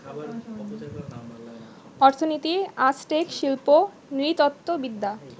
অর্থনীতি, আজটেক শিল্প নৃতত্ত্ববিদ্যা